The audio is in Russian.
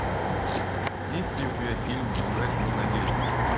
есть ли у тебя фильм не угаснет надежда